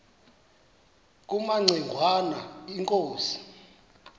kumaci ngwana inkosi